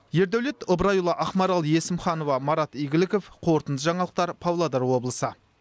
ердаулет ыбырайұлы ақмарал есімханова марат игіліков қорытынды жаңалықтар павлодар облысы